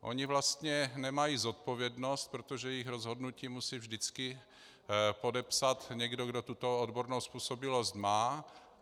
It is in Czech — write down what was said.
Oni vlastně nemají zodpovědnost, protože jejich rozhodnutí musí vždycky podepsat někdo, kde tuto odbornou způsobilost má.